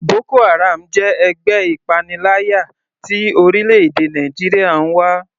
Boko haram jẹ́ ẹgbẹ́ ìpaniláyà tí orílẹ̀-èdè Nàìjíríà ń wá.